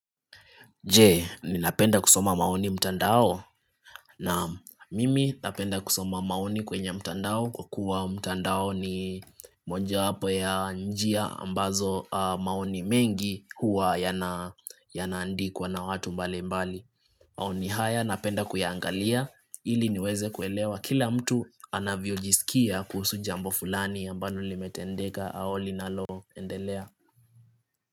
Je ni napenda kusoma maoni mtandao na mimi napenda kusoma maoni kwenye mtandao kwa kuwa mtandao ni mojawapo ya njia ambazo maoni mengi huwa yanaandikwa na watu mbali mbali. Maoni haya napenda kuyaangalia ili niweze kuelewa kila mtu anavyojisikia kuhusu jambo fulani ambalo limetendeka au linaloendelea.